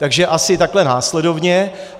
Takže asi takhle následovně.